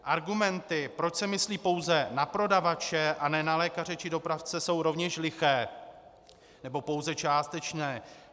Argumenty, proč se myslí pouze na prodavače a ne na lékaře či dopravce, jsou rovněž liché, nebo pouze částečné.